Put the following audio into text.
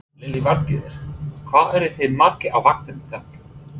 Lillý Valgerður: Hvað eruð þið margir á vaktinni í dag?